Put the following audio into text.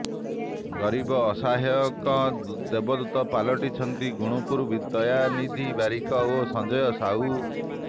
ଗରିବ ଅସହାୟଙ୍କ ଦେବଦୂତ ପାଲଟିଛନ୍ତି ଗୁଣୁପୁରର ଦୟାନିଧି ବାରିକ ଓ ସଂଜୟ ସାହୁ